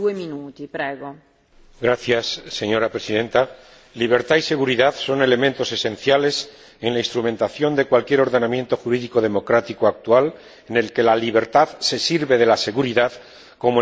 Señora Presidenta, libertad y seguridad son elementos esenciales en la instrumentación de cualquier ordenamiento jurídico democrático actual, en el que la libertad se sirve de la seguridad como el instrumento más preciado para protegerse.